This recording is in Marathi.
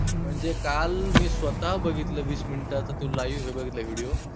म्हणजे काल मी स्वतः बघितला वीस minutes चा live बघितला video.